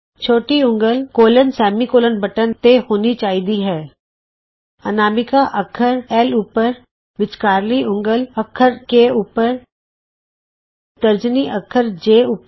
ਛੋਟੀ ਉਂਗਲ colon semi colon button ਤੇ ਹੋਣੀ ਚਾਹੀਦੀ ਹੈ ਅਨਾਮਿਕਾ ਅੱਖਰ ਐਲ ਉੱਪਰ ਵਿਚਕਾਰਲੀ ਉਂਗਲ ਅੱਖਰ ਕੇ ਉੱਪਰ ਤਰਜਨੀ ਅੱਖਰ ਜੇ ਉੱਪਰ